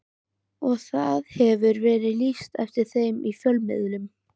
Og það hefur verið lýst eftir þeim í fjölmiðlum.